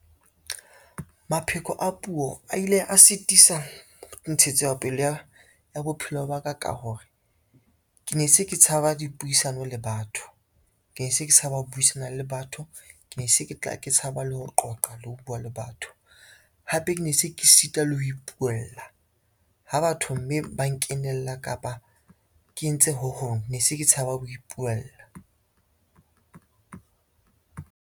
Mapheko a puo a ile a sitisa ntshetsopele ya bophelo ba ka ka hore, ke ne se ke tshaba dipuisano le batho, ke ne se ke tshaba ho buisana le batho, ke ne se ke tla tshaba le ho qoqa le ho bua le batho. Hape ke ne se ke sita le ho ipuwella ha batho mme ba nkenela, kapa ke entse ho hong ne se ke tshaba ho ipuwella.